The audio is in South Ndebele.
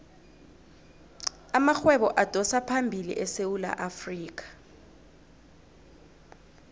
amarhwebo adosaphambili esewula afrikha